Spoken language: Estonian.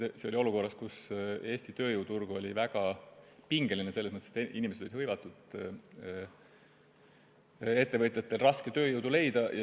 See oli nii olukorras, kus Eesti tööjõuturg oli väga pingeline, selles mõttes, et inimesed olid hõivatud ja ettevõtjatel oli raske tööjõudu leida.